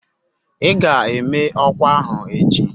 Ị ga-eme ọkwa ahụ echi